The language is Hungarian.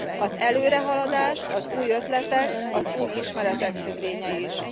Az előrehaladás az új ötletek, az új ismeretek függvénye is.